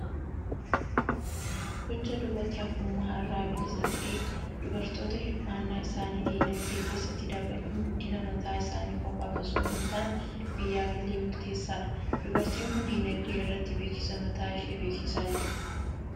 Gochaa duubatti hafummaa irraa bilisa ta'e, dubartoota hirmaannaa isaanii dinagdee keessatti dabaluun guddina mataa isaanii qofaaf osoo hin taane, biyyaaf illee murteessaadha. Dubartiin kun dinagdee irratti beeksisa mataa ishee beeksisaa jirti.